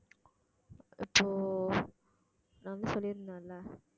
so நான் வந்து சொல்லியிருந்தேன் இல்ல